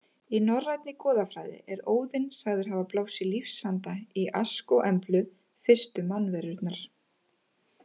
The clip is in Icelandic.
Í norrænni goðafræði er Óðinn sagður hafa blásið lífsanda í Ask og Emblu, fyrstu mannverurnar.